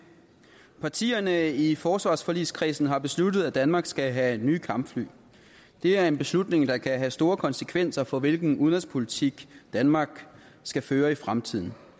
partierne i forsvarsforligskredsen har besluttet at danmark skal have nye kampfly det er en beslutning der kan have store konsekvenser for hvilken udenrigspolitik danmark skal føre i fremtiden